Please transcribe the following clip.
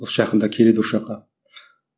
осы жақында келеді осы жаққа